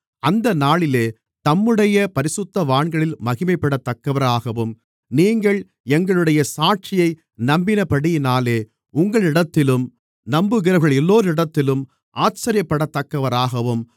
அந்த நாளிலே தம்முடைய பரிசுத்தவான்களில் மகிமைப்படத்தக்கவராகவும் நீங்கள் எங்களுடைய சாட்சியை நம்பினபடியினாலே உங்களிடத்திலும் நம்புகிறவர்களெல்லோரிடத்திலும் ஆச்சரியப்படத்தக்கவராகவும்